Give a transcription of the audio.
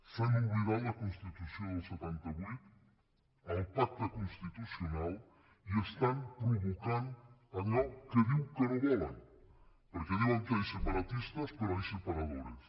s’han oblidat la constitució del setanta vuit el pacte constitucional i estan provocant allò que diu que no volen perquè diuen que hay separatistas pero hay separadores